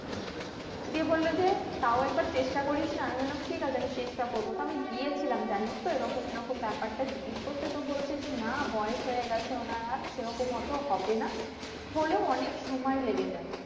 দিয়ে বললো যে তাও একবার চেষ্টা করিসনা আমি বললাম ঠিক আছে আমি চেষ্টা করবো তো আমি গিয়েছিলাম জানিসতো এরকম এরকম ব্যাপারটা জিজ্ঞাসা করতে তো বলছে যে না বয়স হয়ে গেছে ওনার আর সেরকম অটো হবেনা হলেও অনেক সময় লেগে যাবে